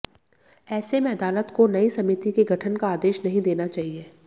ऐसे में अदालत को नई समिति के गठन का आदेश नहीं देना चाहिए